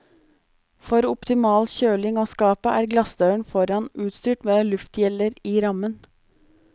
For optimal kjøling av skapet er glassdøren foran utstyrt med luftgjeller i rammen.